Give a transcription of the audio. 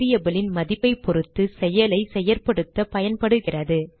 variable ன் மதிப்பைப் பொருத்து செயலை செயற்படுத்த பயன்படுகிறது